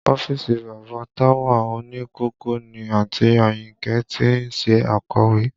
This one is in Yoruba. Ọ́fíìsì bàbá Táwà òní kòkó ni àǹtí Àyìnkẹ́ ti ń ṣe akọ̀wé